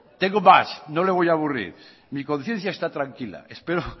tengo más no le voy a aburrir mi conciencia está tranquila espero